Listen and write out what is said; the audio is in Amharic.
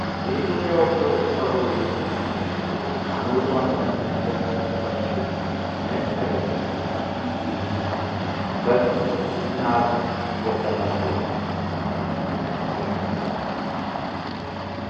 የኢትዮጵያ ኦርቶዶክስ ተዋህዶ ቤተ ክርስቲያን አምልኮን ከምትፈጽምባቻ መሣሪያዎች መካከል አንዱ በስም ጽናጽል የተባለው መሳሪያ ነው።